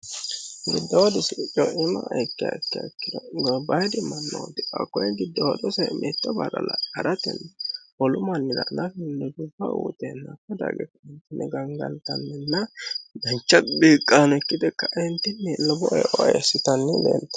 giddawodusi co'ima ekke ikkeikkino gabbayidi mannooti akkone giddawodose meetto ba'ralae ha'ratenni holumannira lafi lebuba uuteennakka dage kmintinni gangantanninna dancha biiqqaano kkite kaintinni lobo eeoeessitanni leente